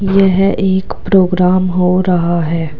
यह एक प्रोग्राम हो रहा है।